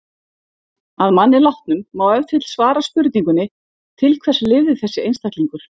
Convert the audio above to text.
Að manni látnum má ef til vill svara spurningunni: til hvers lifði þessi einstaklingur?